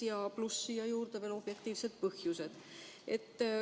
Siia juurde lisanduvad veel objektiivsed põhjused.